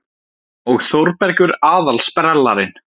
Og Þórbergur aðal-sprellarinn.